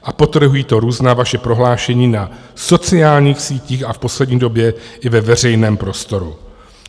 A podtrhují to různá vaše prohlášení na sociálních sítích a v poslední době i ve veřejném prostoru.